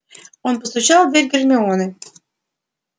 он постучал в дверь гермионы